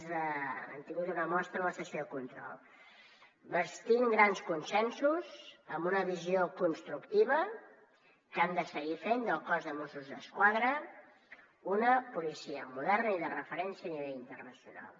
n’hem tingut una mostra a la sessió de control bastint grans consensos amb una visió constructiva que han de seguir fent del cos de mossos d’esquadra una policia moderna i de referència a nivell internacional